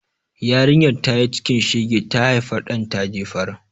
Yarinyar da tayi cikin shege, ta haifa ɗan ta jefar.